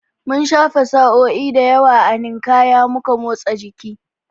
Mun shafe sa'o'i da yawa a Ninkaya muna motsa jiki